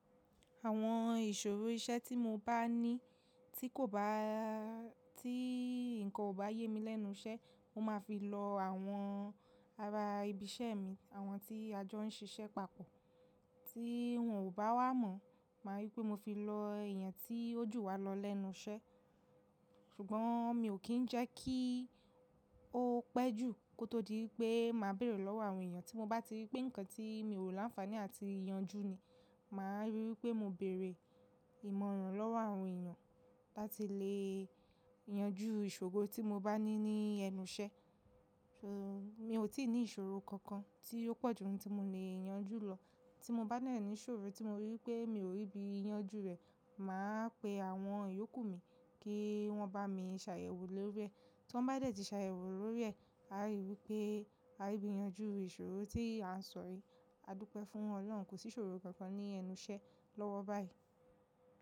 Àwọn ìṣòro iṣẹ́ tí mo bá ní tí kò bá, tí nǹkan ò bá yé mi lẹ́nu iṣẹ́, mo máa fi lọ àwọn ará ibi iṣẹ́ mi àwọn tí a jọ ń siṣẹ́ papọ̀. Tí wọ́n ò bá wá mọ̀, máa rí i pé mo fi lọ ẹ̀eyàn tí ó jù wá lọ lẹ́nu iṣẹ́. Ṣùgbọ́n mi ò kí ń jẹ́ kí ó pẹ́ jù kó tó di wípẹ́ màá bẹ̀rẹ̀ lọ́wọ́ àwọn èèyàn tí mo bá ti rí pé nǹkan tí mi ò láǹfààní àti ìyanjú ni, màá rí wipé mo bẹ̀rẹ̀ ìmọ̀ràn lọ́wọ́ àwọn èèyàn láti lè yanjú ìṣòro tí mo bá ní ní ẹnu iṣẹ́. Mi ò tí ì ní ìṣòro kankan tí ó pọ̀ jù n tí mo lè yanjú lọ. Tí mo bá dẹ̀ ní ṣòro tí mo rí wipé mi ò rí bí i yanjú rẹ̀, màá pe àwọn ìyókù mi kí wọ́n bá mi ṣàyẹ̀wò lórí rẹ̀. Tọ́n bá dé̀tí ṣàyẹ̀wò lórí rẹ̀, a rí wipé a ri bí yanjú ìṣòro tí à ń sọ̀ yi. A dúpẹ́ fún Ọlọ́run, kò sí ìṣòro kankan ní ẹnu iṣẹ́ lọ́wọ́ báyìí.